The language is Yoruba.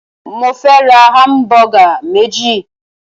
Mó fẹ́ ra hamubugq méjì.